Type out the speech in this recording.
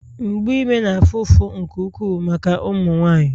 mgbu ime na-afụ ụfụ nke ukwuu maka ụmụ nwanyị